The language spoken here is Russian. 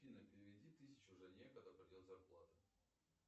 афина переведи тысячу жене когда придет зарплата